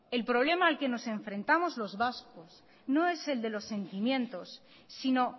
el problema al que nos enfrentamos los vascos no es el de los sentimientos sino